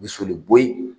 Bi soli boyi